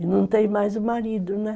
E não tem mais o marido, né?